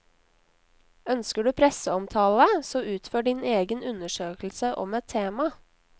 Ønsker du presseomtale, så utfør din egen undersøkelse om et tema.